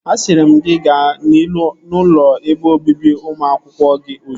Asịrị m gị gaa n'ụlọ ebe obibi ụmụ akwụkwọ gị ozugbo!